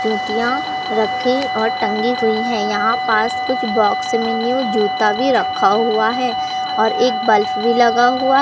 जूतियां रखें और टंगी हुई है यहां पास कुछ बॉक्स में न्यू जूता भी रखा हुआ है और एक बल्ब भी लगा हुआ --